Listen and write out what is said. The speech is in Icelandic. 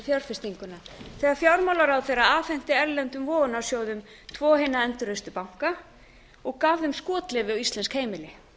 fjárfestinguna þegar fjármálaráðherra afhenti erlendum vogunarsjóðum tvo hina endurreistu banka og gaf þeim skotleyfi á íslensk heimili